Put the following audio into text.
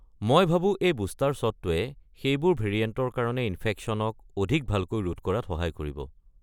মই ভাবো এই বুষ্টাৰ শ্বটটোৱে সেইবোৰ ভেৰিয়েণ্টৰ কাৰণে ইনফেকশ্যনক অধিক ভালকৈ ৰোধ কৰাত সহায় কৰিব।